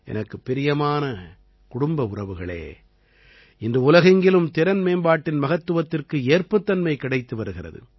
எனக்குப் பிரியமான குடும்ப உறவுகளே இன்று உலகெங்கிலும் திறன் மேம்பாட்டின் மகத்துவத்திற்கு ஏற்புத்தன்மை கிடைத்து வருகிறது